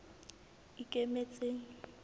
ikemetseng